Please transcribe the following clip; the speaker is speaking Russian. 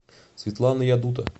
светлана ядута